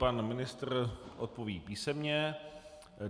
Pan ministr odpoví písemně.